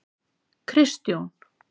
Kristjón